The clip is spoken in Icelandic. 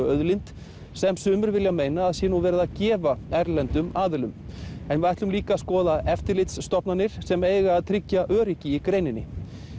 auðlind sem sumir vilja meina að nú sé verið að gefa erlendum aðilum en við ætlum líka að skoða eftirlitsstofnanir sem eiga að tryggja öryggi í greininni